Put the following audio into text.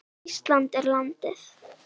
Ísland er landið.